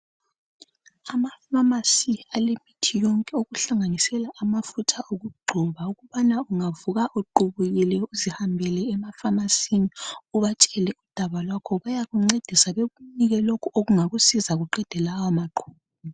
Amafamasi alemithi yonke okuhlanganisela imithi yokugcoba. Okubana ungavuka uqubukile uzihambele emafamasini ,ubatshele udaba lwakho bayakuncedisa bekunike lokho okungakusiza kuqede lawa maqubu .